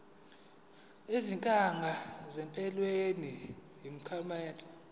izinkinga empilweni yomphakathi